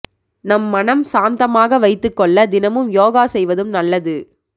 நம் மனம் சாந்தமாக வைத்துக்கொள்ள தினமும் யோகா செய்வதும் நல்லது